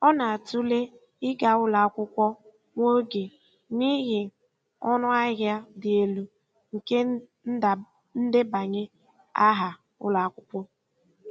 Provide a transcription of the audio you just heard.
Ọ na-atụle ịga ụlọ akwụkwọ nwa oge n'ihi ọnụ ahịa dị elu nke ndebanye aha ụlọ akwụkwọ.